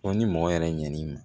ni mɔgɔ yɛrɛ ɲɛn'i ma